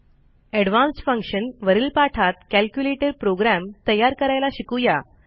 advanced function वरील पाठात calculator program तयार करायला शिकू या